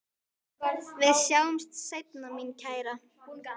Við sjáumst seinna mín kæra.